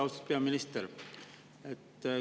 Austatud peaminister!